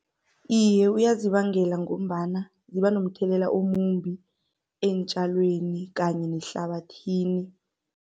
Iye, uyazibangela ngombana ziba nomthelela omumbi eentjalweni kanye nehlabathini.